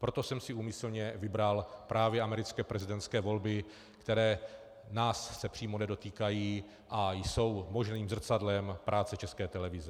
Proto jsem si úmyslně vybral právě americké prezidentské volby, které se nás přímo nedotýkají a jsou možným zrcadlem práce České televize.